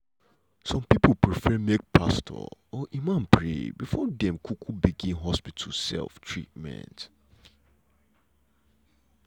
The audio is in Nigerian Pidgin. some people prefer make pastor or imam pray before dem um go begin hospital um treatment.